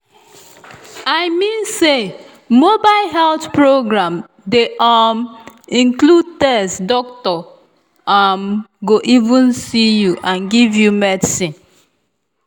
i mean say mobile health program dey um include test doctor um go um even see you and give you medicine.